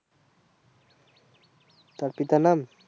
তার পিতার নাম